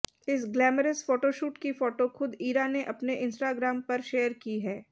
इस glamorous photoshoot की photo खुद इरा ने अपने इंस्टाग्राम पर शेयर की हैं